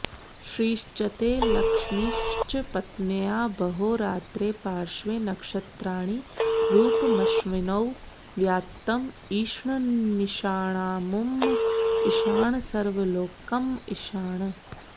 श्रीश्चते लक्ष्मीश्च पत्न्या बहो रात्रे पार्श्वे नक्षत्राणि रूपमश्विनौ व्यात्तम् इष्णन्निषाणामुम्म इषाणसर्वलोकम्म इषाण